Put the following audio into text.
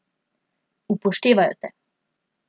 Upoštevajo te.